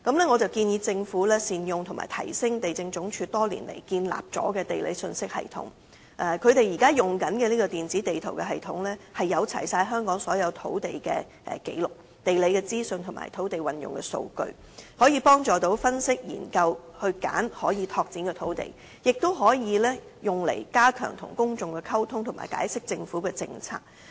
我建議政府善用及提升地政總署多年來建立的土地信息系統，現時所用的這個電子地圖系統載有香港所有土地紀錄、地理資訊及土地運用的數據，可以幫助分析研究和選取可拓展土地，亦可用於加強向公眾溝通及解釋政策。